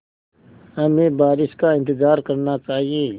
हमें बारिश का इंतज़ार करना चाहिए